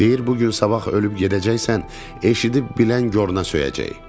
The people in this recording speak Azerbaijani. Deyir, bu gün sabah ölüb gedəcəksən, eşidib bilən goruna söyəcək.